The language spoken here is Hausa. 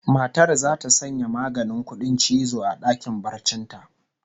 Matar zata sanya maganin kudin cizo a dakin barcin ta